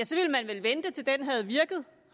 så ville man vel vente til den havde